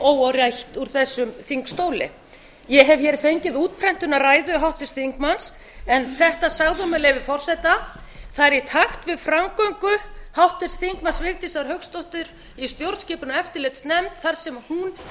óáreitt úr þessum þingstóli ég hef fengið útprentun af ræðu háttvirts þingmanns en þetta sagði hún með leyfi forseta það er í takt við framgöngu háttvirtur þingmaður vigdísar hauksdóttur í stjórnskipunar og eftirlitsnefnd þar sem hún